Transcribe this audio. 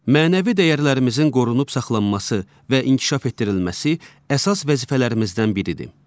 Mənəvi dəyərlərimizin qorunub saxlanması və inkişaf etdirilməsi əsas vəzifələrimizdən biridir.